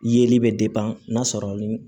Yeli bɛ n'a sɔrɔ ni